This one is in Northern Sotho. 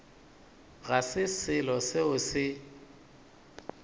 ga se selo seo se